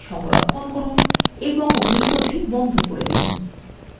এখন এই প্রশ্নthe সংরক্ষণ করুন এবং window বন্ধ করে দিন